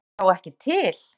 Er ég þá ekki til?